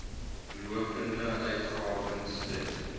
lopende uitgawes ten